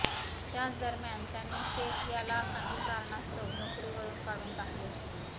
त्याचदरम्यान त्यांनी शेख याला काही कारणास्तव नोकरीवरून काढून टाकले होते